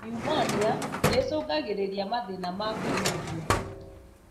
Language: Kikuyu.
Niumonia nĩĩcũngagĩrĩria mathĩna ma kũhihia